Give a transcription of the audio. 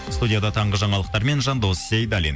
студияда таңғы жаңалықтармен жандос сейдаллин